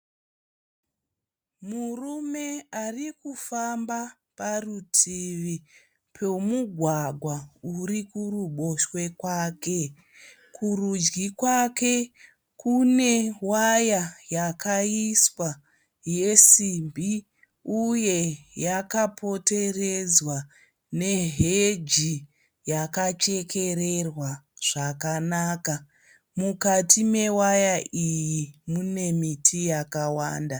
Murume arikufamba parutivi pemugwagwa urikuruboshwe kwake. Kurudyi kwake kune waya yakaiswa yesimbi uye yakapoteredzwa neheji yakachekererwa zvakanaka. Mukati mewaya iyi mune miti yakawanda.